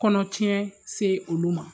Kɔnɔ tiɲɛ se olu ma